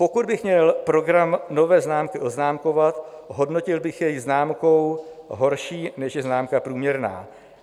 Pokud bych měl program nové vlády oznámkovat, hodnotil bych jej známkou horší, než je známka průměrná.